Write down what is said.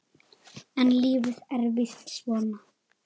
En lífið er víst svona.